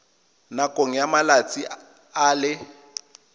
nakong ya malatsi a le